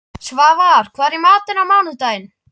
Svafar, hvað er í matinn á mánudaginn?